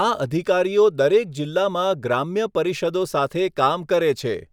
આ અધિકારીઓ દરેક જિલ્લામાં ગ્રામ્ય પરિષદો સાથે કામ કરે છે.